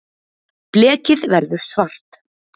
blekið verður svart